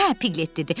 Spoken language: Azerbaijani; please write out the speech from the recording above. Hə, Piqlet dedi.